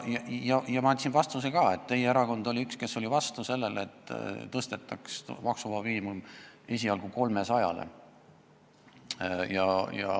Ma andsin vastuse ka, et teie erakond oli üks, kes oli vastu sellele, et maksuvaba miinimum tõstetaks esialgu 300 eurole.